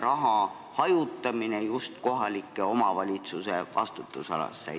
raha hajutamine kohalike omavalitsuste vastutusalasse?